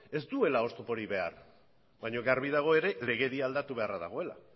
ez duela oztoporik behar baina garbi dago ere legedia aldatu beharra dagoela